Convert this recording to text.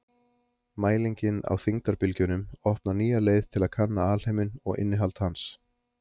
Mælingin á þyngdarbylgjunum opnar nýja leið til að kanna alheiminn og innihald hans.